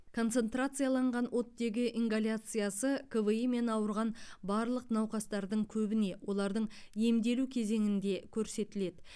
концентрацияланған оттегі ингаляциясы кви мен ауырған барлық науқастардың көбіне олардың емделу кезеңінде көрсетіледі